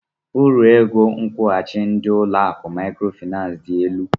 Uru ego nkwụghachi ndị ụlọ akụ Maịkrofịnansị dị elu.